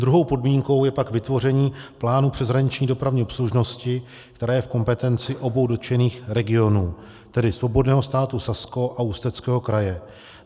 Druhou podmínkou je pak vytvoření plánu přeshraniční dopravní obslužnosti, která je v kompetenci obou dotčených regionů, tedy Svobodného státu Sasko a Ústeckého kraje.